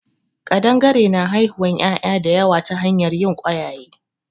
Ƙadangare na haihuwan ƴaƴa da yawa ta hanyar yin ƙwayaye